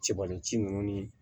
Cɛbalenci ninnu ni